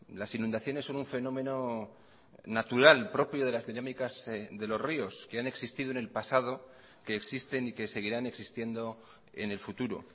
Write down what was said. las inundaciones son un fenómeno natural propio de las dinámicas de los ríos que han existido en el pasado que existen y que seguirán existiendo en el futuro